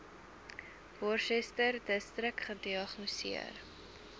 worcesterdistrik gediagnoseer